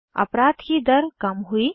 अपराध की दर कम हुई